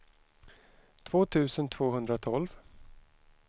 två tusen tvåhundratolv